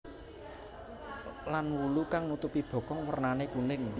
Lan wulu kang nutupi bokong wernané kuning